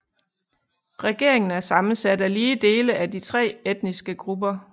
Regeringen er sammensat af lige dele af de tre etniske grupper